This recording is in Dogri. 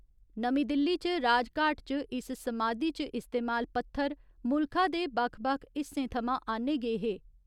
नमीं दिल्ली च राजघाट च इस समाधी च इस्तेमाल पत्थर मुल्खा दे बक्ख बक्ख हिस्से थमां आन्ने गे हे।